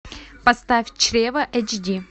поставь чрево эйч ди